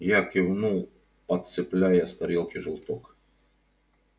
я кивнул подцепляя с тарелки желток